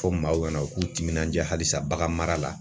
Fɔ maaw kana u k'u timinanja halisa bagan mara la